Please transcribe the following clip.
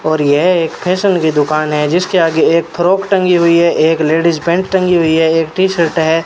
और यह एक फैसन की दुकान है जिसके आगे एक फ्रॉक टंगी हुई है एक लेडीज पेंट टांगी हुई है एक टी शर्ट है।